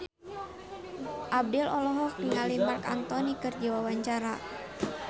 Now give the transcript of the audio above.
Abdel olohok ningali Marc Anthony keur diwawancara